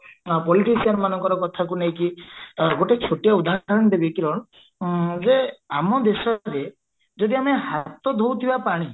politician ମାନଙ୍କର କଥାକୁ ନେଇକି ଆଁ ଗୋଟେ ଛୋଟିଆ ଉଦାହରଣ ଦେବି କିରଣ ଉମ ଯେ ଆମ ଦେଶରେ ଯଦି ଆମେ ହାତ ଧୋଉଥିବା ପାଣି